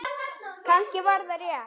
Kannski var þetta rétt.